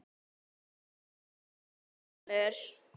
Sonja kemur.